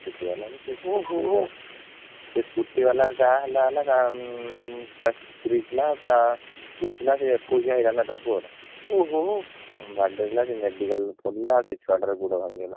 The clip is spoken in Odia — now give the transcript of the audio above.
Scooty ବାଲା କୁ ସେ scooty ବାଲାର ଯାହା ହେଲା ହେଲା ତା ସ୍ତ୍ରୀ ଥିଲାତା ପୁଅ ଥିଲା ତାର ଏକୋଇସିଆ ହେଇଥାନ୍ତା ସେ ପୁଅ ର ହଁ ବାଡ଼େଇ ଦେଲା ସେ medical ରେ ପଡିଲା ସେ ଛୁଆଟାର ଗୋଡ ଭାଙ୍ଗିଗଲା